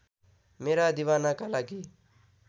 मेरा दिवानाका लागि